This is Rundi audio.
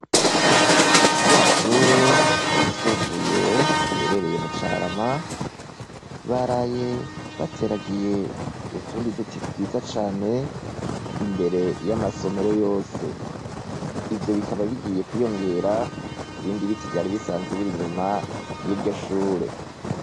Rya Shure ryisumbuye riherereye mu carama baraye bateragiye utundi duti twiza cane imbere y'amasomero yose, ivyo bikaba bigiye kwiyongera kubindi biti vyaribisanzwe biri inyuma y'iryo Shure.